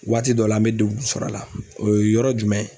Waati dɔ la an mɛ degun sɔrɔ a la o ye yɔrɔ jumɛn ye?